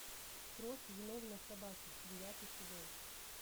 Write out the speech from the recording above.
кровь виновной собаки девятый сезон